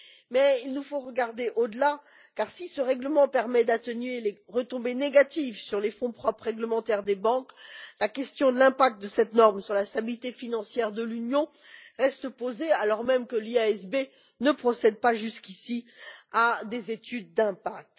Mais il nous faut regarder au delà, car si ce règlement permet d'atténuer les retombées négatives sur les fonds propres réglementaires des banques, la question de l'impact de cette norme sur la stabilité financière de l'Union reste posée, alors même que l'IASB ne procède pas jusqu'ici à des études d'impact.